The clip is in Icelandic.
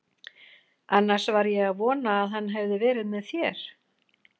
Annars var ég að vona að hann hefði verið með þér.